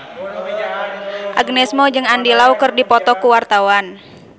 Agnes Mo jeung Andy Lau keur dipoto ku wartawan